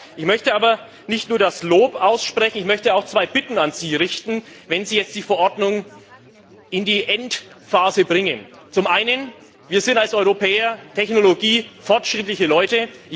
Ich möchte aber nicht nur ein Lob aussprechen, sondern auch zwei Bitten an Sie richten, wenn Sie jetzt die Verordnung in die Endphase bringen Zum einen sind wir als Europäer technologiefortschrittliche Leute.